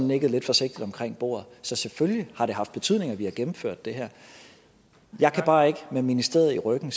nikket lidt forsigtigt omkring bordet så selvfølgelig har det haft betydning at vi har gennemført det her jeg kan bare ikke med ministeriet i ryggen